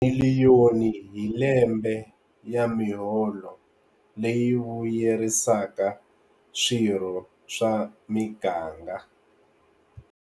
Miliyoni hi lembe ya miholo leyi vuyerisaka swirho swa miganga.